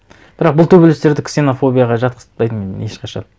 бірақ бұл төбелестерді ксенофобияға жатқызытпайтын ешқашан